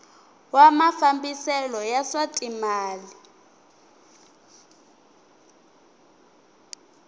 wa mafambiselo ya swa timal